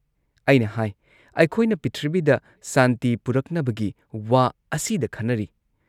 ꯑꯩꯅ ꯍꯥꯥꯏ "ꯑꯩꯈꯣꯏꯅ ꯄ꯭ꯔꯤꯊꯤꯕꯤꯗ ꯁꯥꯟꯇꯤ ꯄꯨꯔꯛꯅꯕꯒꯤ ꯋꯥ ꯑꯁꯤꯗ ꯈꯟꯅꯔꯤ ꯫